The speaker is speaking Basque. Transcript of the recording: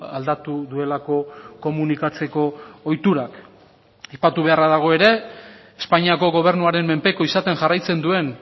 aldatu duelako komunikatzeko ohiturak aipatu beharra dago ere espainiako gobernuaren menpeko izaten jarraitzen duen